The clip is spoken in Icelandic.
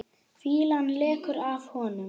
Fýlan lekur af honum.